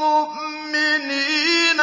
مُّؤْمِنِينَ